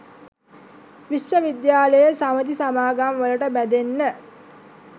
විශ්ව විද්‍යාලේ සමිති සමාගම් වලට බැඳෙන්න